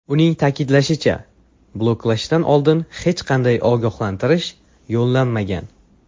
Uning ta’kidlashicha, bloklashdan oldin hech qanday ogohlantirish yo‘llanmagan.